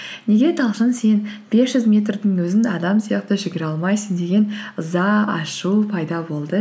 неге талшын сен бес жүз метрдің өзін адам сияқты жүгіре алмайсың деген ыза ашу пайда болды